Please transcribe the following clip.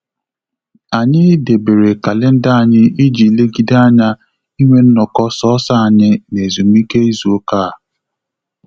Anyị debere kalenda anyị iji legide anya inwe nnoko sọsọ anyị na ezumike izu ụka a